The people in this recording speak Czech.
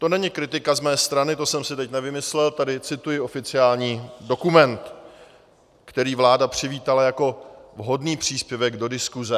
To není kritika z mé strany, to jsem si teď nevymyslel, tady cituji oficiální dokument, který vláda přivítala jako vhodný příspěvek do diskuse.